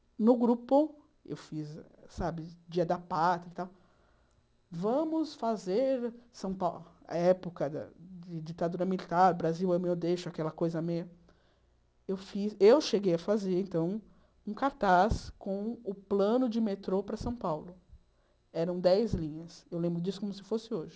e no grupo eu fiz sabe dia da Pátria e tal vamos fazer São Paulo época da de ditadura militar Brasil ame-o ou deixe-o aquela coisa meia eu fiz eu cheguei a fazer então um cartaz com o plano de metrô para São Paulo eram dez linhas eu lembro disso como se fosse hoje